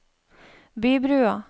Bybrua